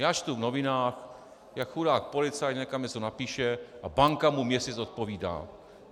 Já čtu v novinách, jak chudák policajt někam něco napíše a banka mu měsíc odpovídá.